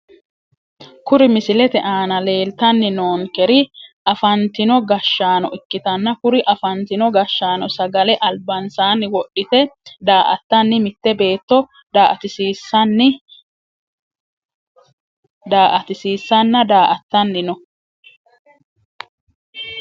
Kuri misilete aana leeltani noonkeri afantino gashaano ikitanna kuri afantino gashaano sagale albansaani wodhite daa`atani mite beeto daa`atisiisana daa`atani no.